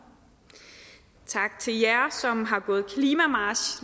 tak til jer som har gået klimamarch